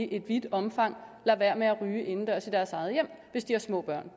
i vidt omfang lader være med at ryge indendørs i deres eget hjem hvis de har små børn